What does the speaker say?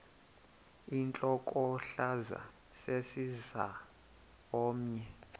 intlokohlaza sesisaz omny